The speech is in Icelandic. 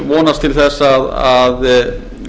vonast til þess að